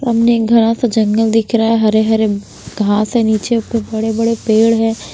सामने एक घना सा जंगल दिख रहा है हरे हरे घास है नीचे ऊपर बड़े-बड़े पेड़ हैं।